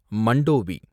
Mandovi